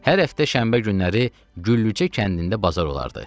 Hər həftə şənbə günləri Güllücə kəndində bazar olardı.